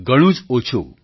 ઘણું જ ઓછું